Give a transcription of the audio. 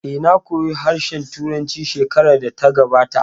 Eh, na koya harshen Turanci shekarar da ta gabata